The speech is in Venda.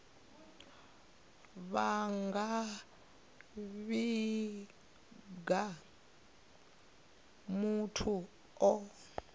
vha nga vhiga muthu o